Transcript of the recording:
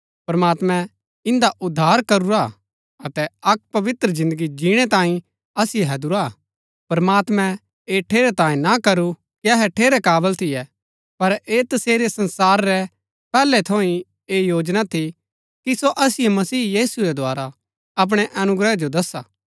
प्रमात्मैं इन्दा उद्धार करूरा हा अतै अक्क पवित्र जिन्दगी जिणै तांये असिओ हैदुरा हा प्रमात्मैं ऐह ठेरैतांये ना करू कि अहै ठेरै काबल थियै पर ऐह तसेरी संसार रै पैहलै थऊँ ही ऐह योजना थी कि सो असिओ मसीह यीशु रै द्धारा अपणै अनुग्रह जो दसा